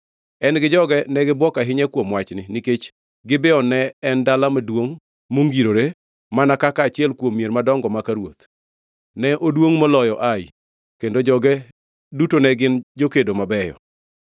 En gi joge ne gibuok ahinya kuom wachni nikech Gibeon ne en dala maduongʼ mongirore, mana kaka achiel kuom mier madongo maka ruoth. Ne oduongʼ moloyo Ai, kendo joge duto ne gin jokedo mabeyo.